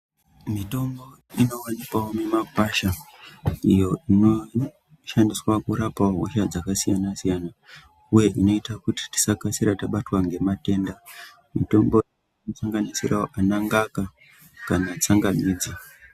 Mitombo inowanikwawo mumakwasha iyo inoshandiswa kurapa hosha dzakasiyana siyana uye kunoita kuti tisakasira tabatwa ngematenda, mutombo dzinosanganisirawo anangaka kana tsangamidzi .